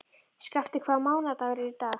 Skafti, hvaða mánaðardagur er í dag?